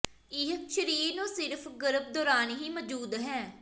ਇਹ ਸਰੀਰ ਨੂੰ ਸਿਰਫ ਗਰਭ ਦੌਰਾਨ ਹੀ ਮੌਜੂਦ ਹੈ